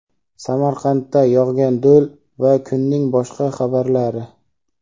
Samarqandda yog‘gan do‘l va kunning boshqa xabarlari.